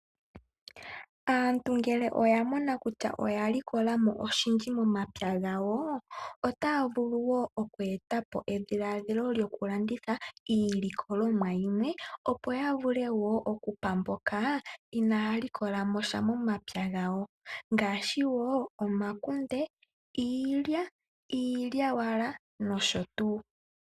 Aantu ngele oyamona kutya oyalikolamo oshindji momapya gawo, otaa vulu woo okweetapo edhiladhilo lyo ku landitha iilikolomwa yimwe opo ya vule woo okupamboka inaa likolamosha momapya gawo. Ngaashi omakunde, iilya, iilyawala no sho tuu.